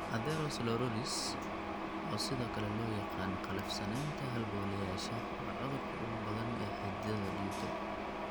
Atherosclerosis, oo sidoo kale loo yaqaan qallafsanaanta halbowlayaasha, waa cudurka ugu badan ee xididdada dhiigga.